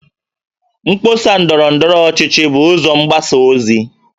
Mkpọsa ndọrọ ndọrọchi bụ ụzọ mgbasa ozi